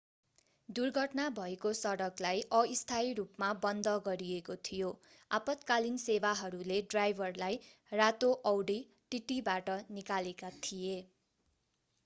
दुर्घटना भएको सडकलाई अस्थायी रूपमा बन्द गरिएको थियो आपतकालीन सेवाहरूले ड्राइभरलाई रातो औडी tt बाट निकालेका थिए